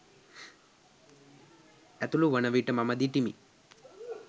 ඇතුළුවන විට මම දිටිමි.